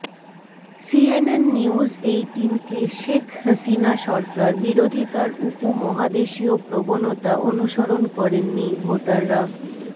CNN news এইটিনকে শেখ হাসিনাসরকার বিরোধিতার উপমহাদেশীয় প্রবণতা অনুসরণ করেননি ভোটাররা